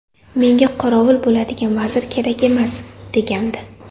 Menga qorovul bo‘ladigan vazir kerak emas”, degandi.